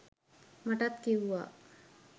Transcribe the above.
මටත් කිව්වා